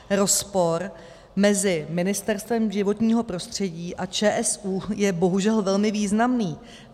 Rozpor mezi Ministerstvem životního prostředí a ČSÚ je bohužel velmi významný.